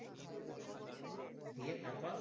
দিয়ে তারপর?